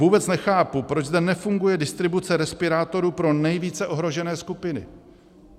Vůbec nechápu, proč zde nefunguje distribuce respirátorů pro nejvíce ohrožené skupiny.